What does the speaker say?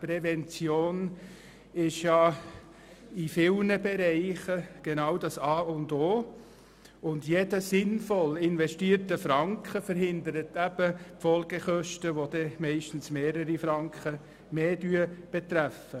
Die Prävention ist in vielen Bereichen das A und O. Jeder sinnvoll investierte Franken verhindert eben Folgekosten, die meistens einige Franken mehr kosten.